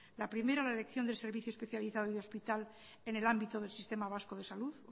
la primera la elección del servicio especializado y de hospital en el ámbito del sistema vasco de salud